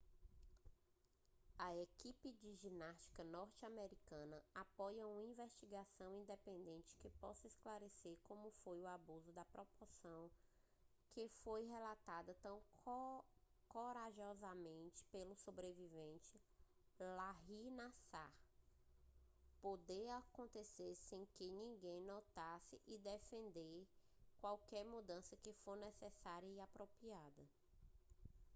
a equipe de ginástica norte-americana apoia uma investigação independente que possa esclarecer como um abuso da proporção que foi relatada tão corajosamente pelo sobrevivente larry nassar pôde acontecer sem que ninguém notasse e defende qualquer mudança que for necessária e apropriada